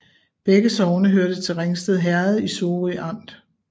Begge sogne hørte til Ringsted Herred i Sorø Amt